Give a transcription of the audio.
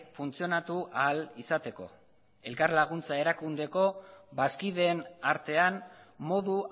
funtzionatu ahal izateko elkarlaguntza erakundeko bazkideen artean modu